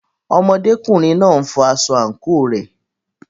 Ọmọdékùnrin náà n fọ aṣọ àǹkóò rẹ̀.